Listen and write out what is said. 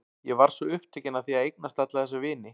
Ég varð svo upptekin af því að eiga alla þessa vini.